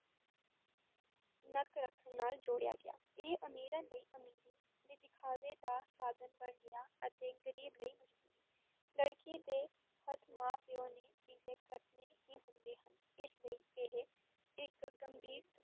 ਨੱਕ ਰੱਖਣ ਨਾਲ ਜੋੜਿਆ ਗਿਆ, ਇਹ ਅਮੀਰਾਂ ਲਈ ਅਮੀਰੀ ਦੇ ਦਿਖਾਵੇ ਦਾ ਸਾਧਨ ਬਣ ਗਿਆ ਅਤੇ ਗ਼ਰੀਬ ਲਈ ਮਜਬੂਰੀ, ਲੜਕੀ ਦੇ ਹੱਥ ਮਾਂ-ਪਿਓ ਨੇ ਪੀਲੇ ਕਰਨੇ ਹੀ ਹੁੰਦੇ ਹਨ, ਇਸ ਲਈ ਇਹ ਇੱਕ ਗੰਭੀਰ